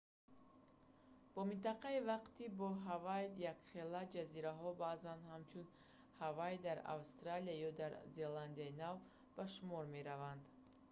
бо минтақаи вақти бо ҳавайи якхела ҷазираҳо баъзан ҳамчун «ҳавайи дар австралия ё дар зеландияи нав» ба шумор мераванд